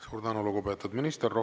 Suur tänu, lugupeetud minister!